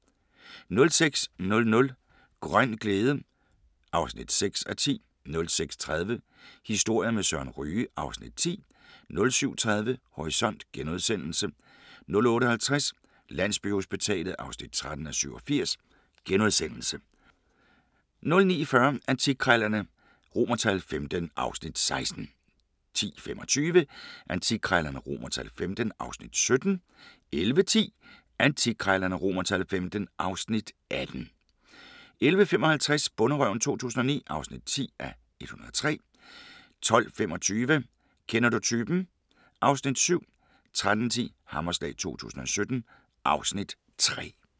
06:00: Grøn glæde (6:10) 06:30: Historier med Søren Ryge (Afs. 10) 07:30: Horisont * 08:50: Landsbyhospitalet (13:87)* 09:40: Antikkrejlerne XV (Afs. 16) 10:25: Antikkrejlerne XV (Afs. 17) 11:10: Antikkrejlerne XV (Afs. 18) 11:55: Bonderøven 2009 (10:103) 12:25: Kender du typen? (Afs. 7) 13:10: Hammerslag 2017 (Afs. 3)